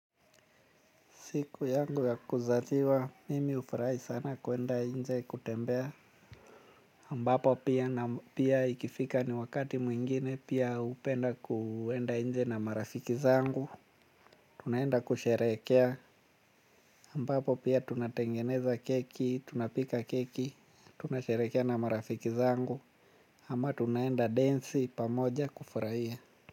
Siku yangu ya kuzaliwa, mimi hufurahi sana kuenda nje kutembea. Ambapo pia na pia ikifika ni wakati mwingine pia hupenda kuenda nje na marafiki zangu. Tunaenda kusherehekea. Ambapo pia tunatengeneza keki, tunapika keki, tunasherehekea na marafiki zangu. Ama tunaenda densi pamoja kufurahia.